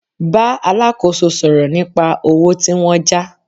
Bá alákòóso sọ̀rọ̀ nípa owó tí wọ́n já